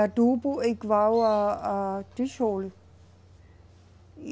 Adubo é igual a, a Tijolo.